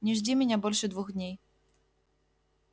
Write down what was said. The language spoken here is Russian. не жди меня больше двух дней